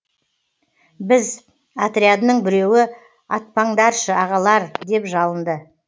біз отрядының біреуі атпаңдаршы ағалар деп жалынды